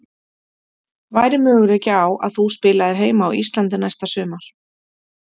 Væri möguleiki á að þú spilaðir heima á Íslandi næsta sumar?